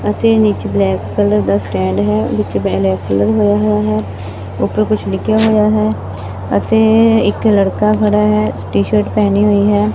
ਅਤੇ ਨੀਚੇ black colour ਦਾ ਸਟੈਂਡ ਹੈ ਉਦੇ ਚ ਬਲੈਕ ਕਲਰ ਹੋਇਆ ਹੋਇਆ ਹੈ ਉਪਰ ਕੁਛ ਲਿਖਿਆ ਹੋਇਆ ਹੈ ਅਤੇ ਇੱਕ ਲੜਕਾ ਖੜਾ ਹੈ ਟੀ ਸ਼ਰਟ ਪਹਣੀ ਹੁਈ ਹੈ।